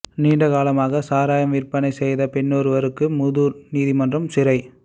நீண்ட காலமாக சாராயம் விற்பனை செய்த பெண்ணொருவருக்கு மூதூர் நீதிமன்றம் சிறை